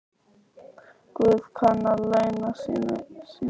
Guð kann að launa sínu fólki.